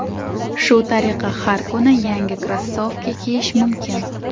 Shu tariqa har kuni yangi krossovka kiyish mumkin.